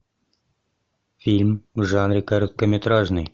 фильм в жанре короткометражный